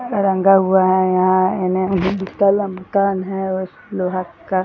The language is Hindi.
रंगा हुआ है यहाँ एने दू तल्ला मकान है उस लोहा का --